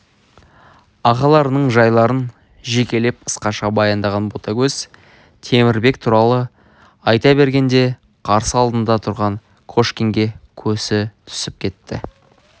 ағаларының жайларын жекелеп қысқаша баяндаған ботагөз темірбек туралы айта бергенде қарсы алдында тұрған кошкинге көзі түсіп кетті